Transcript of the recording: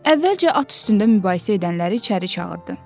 Əvvəlcə at üstündə mübahisə edənləri içəri çağırdı.